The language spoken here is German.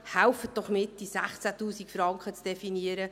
Helfen Sie mit, diese 16 000 Franken zu definieren.